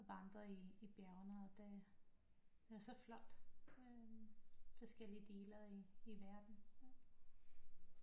Vandret i bjergene og det er så flot forskellige dele i verden